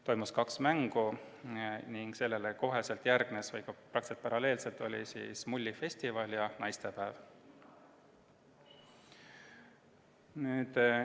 Toimus kaks mängu ning nendega praktiliselt paralleelselt peeti mullifestivali ja naistepäeva.